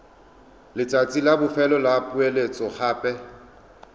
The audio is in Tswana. letsatsi la bofelo la poeletsogape